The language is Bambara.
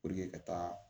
ka taa